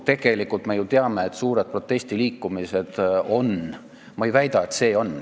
Tegelikult me ju teame, et suured protestiliikumised on manipuleeritud.